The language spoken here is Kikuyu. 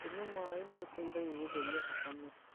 Kũnyua maĩ nĩgũteithagia gũtheria thakame